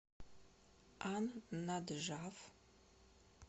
ан наджаф